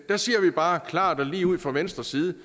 der siger vi bare klart og lige ud fra venstres side